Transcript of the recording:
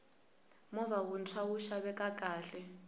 movha wuntshwa wu xaveka kahle